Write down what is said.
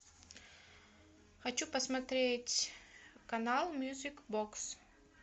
хочу посмотреть канал мьюзик бокс